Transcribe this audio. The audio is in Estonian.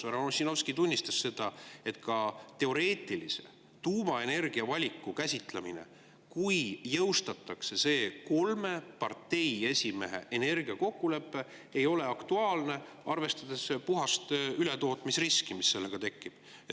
Härra Ossinovski tunnistas, et teoreetilise tuumaenergia valiku käsitlemine ei ole aktuaalne, kui jõustatakse see kolme parteiesimehe energiakokkulepe, arvestades puhast ületootmisriski, mis sellega tekib.